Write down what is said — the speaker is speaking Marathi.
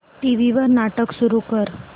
टीव्ही वर नाटक सुरू कर